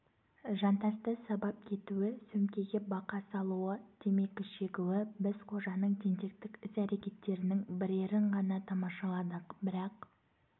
жантасты сабап кетуі сөмкеге бақа салуы темекі шегуі біз қожаның тентектік іс-әрекеттерінің бірерін ғана тамашаладық бірақ